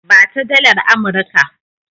Ba ta dalar Amurika!